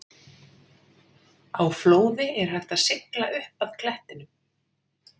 Á flóði er hægt að sigla upp að klettinum.